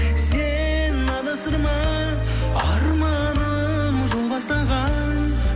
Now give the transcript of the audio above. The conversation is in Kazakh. сен адастырма арманым жол бастаған